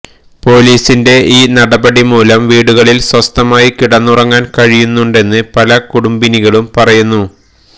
പോലീസിന്റെ ഈ നടപടി മൂലം വീടുകളില് സ്വസ്ഥമായി കിടന്ന് ഉറങ്ങാന് കഴിയുന്നുണ്ടെന്ന് പല കുടുംബിനികളും പറയുന്നു